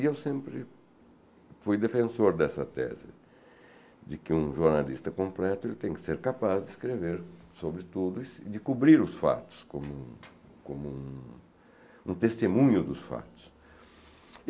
E eu sempre fui defensor dessa tese, de que um jornalista completo tem que ser capaz de escrever sobre tudo, de cobrir os fatos, como um como um testemunho dos fatos.